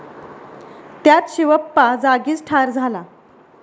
त्यात शिवप्पा जागीच ठार झाला.